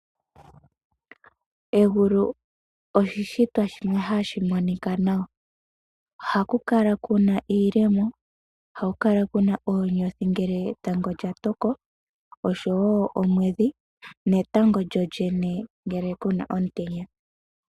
Egulu oshishitwa shimwe hashi monika nawa. Ohaku kala kuna iikogo. Oha ku kala kuna oonyothi ngele etango lya toko osho wo omwedhi netango lyolyene ngele kuna omutenya.